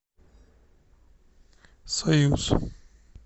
союз